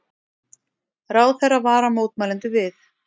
Ráðherra varar mótmælendur við